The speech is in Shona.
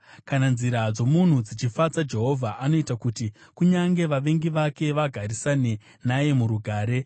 Kana nzira dzomunhu dzichifadza Jehovha, anoita kuti kunyange vavengi vake vagarisane naye murugare.